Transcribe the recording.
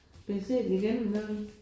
Bliver set igennem gør den ikke?